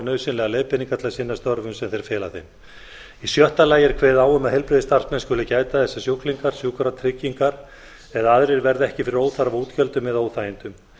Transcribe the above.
nauðsynlegar leiðbeiningar til að sinna störfum sem þeir fela þeim í sjötta lagi er kveðið á um að heilbrigðisstarfsmenn skuli gæta þess að sjúklingar sjúkratryggingar eða aðrir verði ekki fyrir óþarfa útgjöldum eða óþægindum